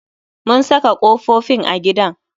Mun saka kofofin a gidan